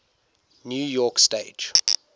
new york stage